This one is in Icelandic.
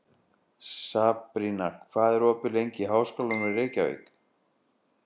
Sabrína, hvað er opið lengi í Háskólanum í Reykjavík?